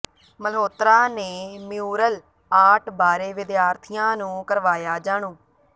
ਮਲਹੋਤਰਾ ਨੇ mural art ਬਾਰੇ ਵਿਦਿਆਰਥੀਆਂ ਨੂੰ ਕਰਵਾਇਆ ਜਾਣੂ